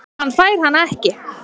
Hann fær hana ekki.